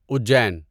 Ujjain